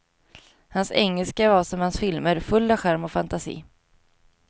Hans engelska var som hans filmer, full av charm och fantasi.